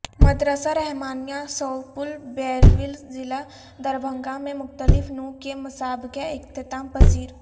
مدرسہ رحمانیہ سوپول بیرول ضلع دربھنگہ میں مختلف نوع کے مسابقے اختتام پذیر